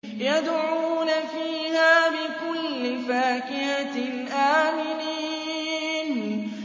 يَدْعُونَ فِيهَا بِكُلِّ فَاكِهَةٍ آمِنِينَ